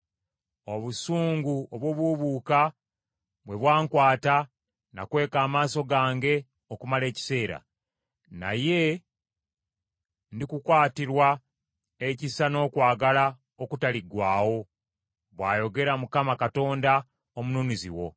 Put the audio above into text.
Obusungu obubuubuuka bwe bwankwata nakweka amaaso gange okumala ekiseera, naye ndikukwatirwa ekisa n’okwagala okutaliggwaawo,” bw’ayogera Mukama Katonda, Omununuzi wo.